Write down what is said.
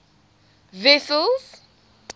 wessels